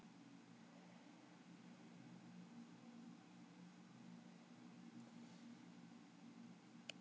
En það er bara ágiskun.